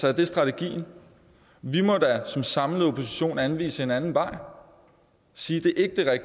er det strategien vi må da som en samlet opposition anvise en anden vej og sige at